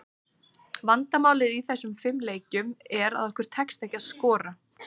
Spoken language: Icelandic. Vandamálið í þessum fimm leikjum, er að okkur tekst ekki að skora.